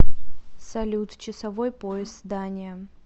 салют часовой пояс дания